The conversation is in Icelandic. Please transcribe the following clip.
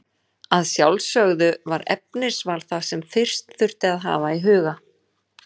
Að sjálfsögðu var efnisval það sem fyrst þurfti að hafa í huga.